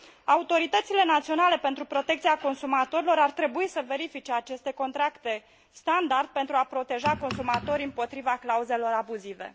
Autoritățile naționale pentru protecția consumatorilor ar trebui să verifice aceste contracte standard pentru a proteja consumatorii împotriva clauzelor abuzive.